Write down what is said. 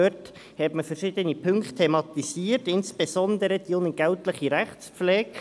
Dort hat man verschiedene Punkte thematisiert, insbesondere die unentgeltliche Rechtspflege.